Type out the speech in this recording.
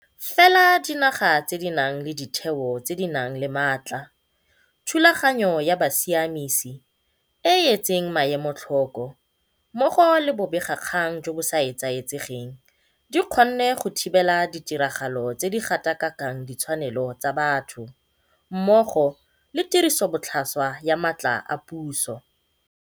Fela dinaga tse di nang le ditheo tse di nang le matla, thulaganyo ya bosiamisi e e etseng maemo tlhoko mmogo le bobegakgang jo bo sa etsaetsegeng di kgonne go thibela ditiragalo tse di gatakakang ditshwanelo tsa batho mmogo le tirisobotlhaswa ya matla a puso.